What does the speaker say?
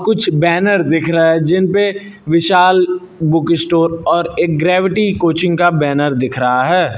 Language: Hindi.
कुछ बैनर दिख रहा है जिनपे विशाल बुक स्टोर और एक ग्रैविटी कोचिंग का बैनर दिख रहा है।